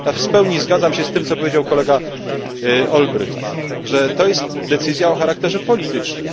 Ja w pełni zgadzam się z tym, co powiedział kolega Olbrycht, że to jest decyzja o charakterze politycznym.